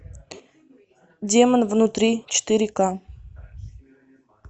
демон внутри четыре к